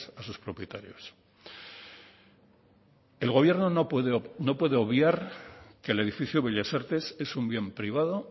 a sus propietarios el gobierno no puede obviar que el edificio bellas artes es un bien privado